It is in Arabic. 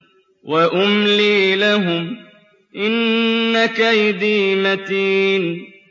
وَأُمْلِي لَهُمْ ۚ إِنَّ كَيْدِي مَتِينٌ